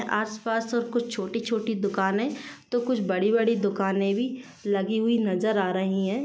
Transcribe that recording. आस-पास और कुछ छोटी-छोटी दूकाने तो कुछ बड़ी-बड़ी दुकाने भी लगी हुई नजर आ रही हैं।